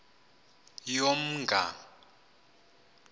yomnga